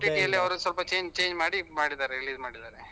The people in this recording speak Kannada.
OTT ಅಲ್ಲಿ ಅವರು ಸ್ವಲ್ಪ change change ಮಾಡಿ ಮಾಡಿದ್ದಾರೆ release ಮಾಡಿದ್ದಾರೆ.